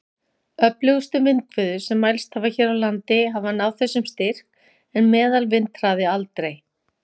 Öflugustu vindhviður sem mælst hafa hér á landi hafa náð þessum styrk, en meðalvindhraði aldrei.